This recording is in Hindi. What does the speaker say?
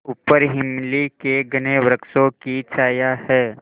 ऊपर इमली के घने वृक्षों की छाया है